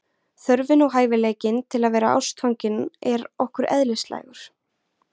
þörfin og hæfileikinn til að vera ástfangin er okkur eðlislægur